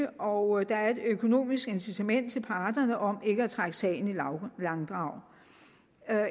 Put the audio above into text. og der er et økonomisk incitament til parterne om ikke at trække sagen i langdrag